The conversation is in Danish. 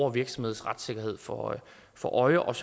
og virksomheds retssikkerhed for øje for øje og